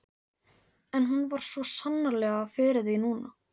En hún vann svo sannarlega fyrir því núna.